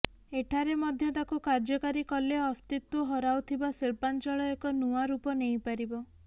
ଏଠାରେ ମଧ୍ୟ ତାକୁ କାର୍ଯ୍ୟକାରୀ କଲେ ଅସ୍ତିତ୍ୱ ହରାଉଥିବା ଶିଳ୍ପାଂଚଳ ଏକ ନୂଆ ରୂପ ନେଇପାରିବ